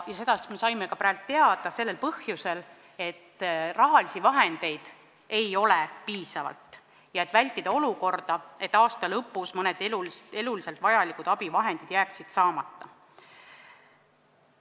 Me saime praegu teada põhjuse: rahalisi vahendeid ei olnud piisavalt ja püüti vältida seda, et aasta lõpus jääksid mõned eluliselt vajalikud abivahendid saamata.